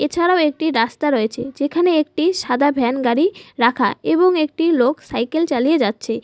এছাড়াও একটি রাস্তা রয়েছে যেখানে একটি সাদা ভ্যান গাড়ি রাখা এবং একটি লোক সাইকেল চালিয়ে যাচ্ছে।